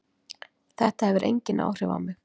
Þetta hefur engin áhrif á mig.